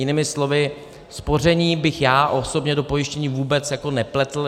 Jinými slovy, spoření bych já osobně do pojištění vůbec nepletl.